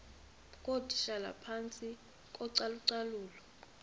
ngootitshala phantsi kocalucalulo